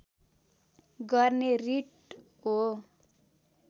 गर्ने रिट हो